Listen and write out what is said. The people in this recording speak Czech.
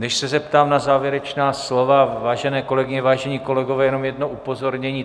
Než se zeptám na závěrečná slova, vážené kolegyně, vážení kolegové, jenom jedno upozornění.